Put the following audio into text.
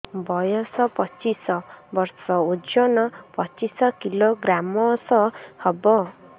ବୟସ ପଚିଶ ବର୍ଷ ଓଜନ ପଚିଶ କିଲୋଗ୍ରାମସ ହବ